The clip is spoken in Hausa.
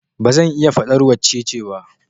Ba zan iya faɗar wacce ce ba